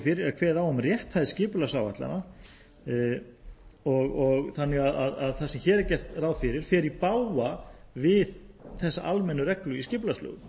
fyrir er kveðið á um rétthæð skipulagsáætlana það sem hér er gert ráð fyrir fer því í bága við þessa almennu reglu í skipulagslögum